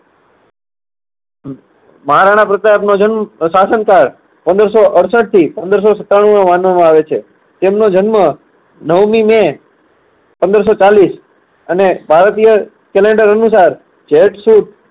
મહારાણા પ્રતાપનો જન્મ પ્રશાસન કાળ પંદર સો અડસઠથી પંદર સો સત્તાણુંમાં માનવામાં આવે છે. તેમનો જન્મ નવમી મે પંદર સો ચાલીસ અને ભારતીય calendar અનુસાર જેઠ સુદ